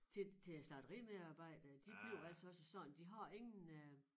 Ti til æ slagterimedarbejdere de bliver altså også sådan de har ingen øh